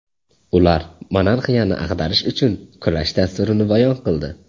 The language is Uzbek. Ular monarxiyani ag‘darish uchun kurash dasturini bayon qildi.